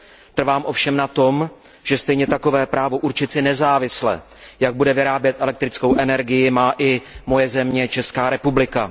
Trvám ovšem na tom, že stejně takové právo určit si nezávisle, jak bude vyrábět elektrickou energii, má i moje země, Česká republika.